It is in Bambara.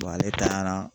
ale taara